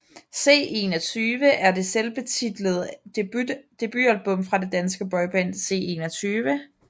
C21 er det selvbetitlede debutalbum fra det danske boyband C21